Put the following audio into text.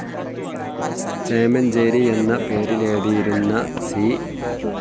ചേമഞ്ചേരി എന്ന പേരിലെഴുതിയിരുന്ന സി.